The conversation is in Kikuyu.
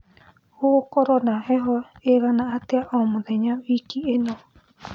gũgũkorwo na heho iigana atĩa o mũthenya wiki ino